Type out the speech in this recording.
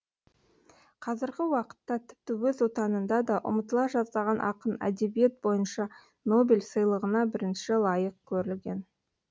қазіргі уақытта тіпті өз отанында да ұмытыла жаздаған ақын әдебиет бойынша нобель сыйлығына бірінші лайық көрілген